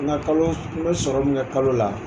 Nka kalo n bɛ sɔrɔ min kalo la.